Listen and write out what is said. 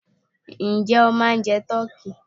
Ǹjẹ́ o ma ń jẹ tọ́kí?